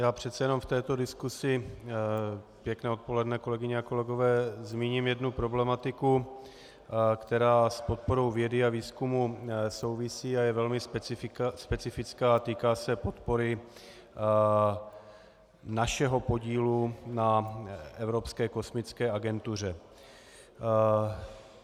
Já přece jenom v této diskusi - pěkné odpoledne, kolegyně a kolegové - zmíním jednu problematiku, která s podporou vědy a výzkumu souvisí a je velmi specifická a týká se podpory našeho podílu na Evropské kosmické agentuře.